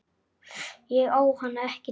Ég á hana ekki til.